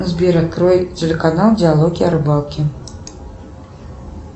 сбер открой телеканал диалоги о рыбалке